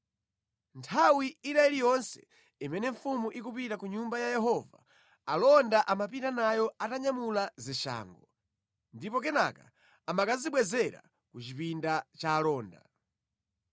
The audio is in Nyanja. Nthawi ina iliyonse imene mfumu ikupita ku Nyumba ya Yehova, alonda amapita nayo atanyamula zishango, ndipo kenaka amakazibwezera ku chipinda cha alonda.